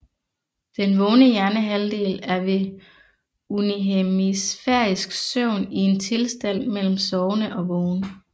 Den vågne hjernehalvdel er ved unihemisfærisk søvn i en tilstand mellem sovende og vågen